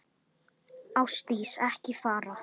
Ásdís, ekki fara.